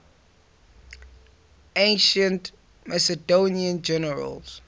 ancient macedonian generals